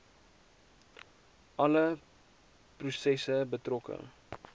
alle prosesse betrokke